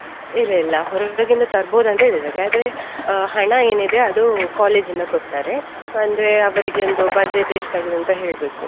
ಇಲ್ಲಿಲ್ಲಾ ಹೊರಗಿಂದ ತರ್ಬೋದ್ ಅಂತ ಹೇಳಿದ್ದಾರೆ ಆದ್ರೆ ಆ ಹಣ ಏನಿದೆ ಅದು college ಇಂದ ಕೊಡ್ತಾರೆ. ಅಂದ್ರೆ ಅವರಿಗೆ budget ಎಷ್ಟ್ ಆಗಿದೆ ಅಂತ ಹೇಳ್ಬೇಕು.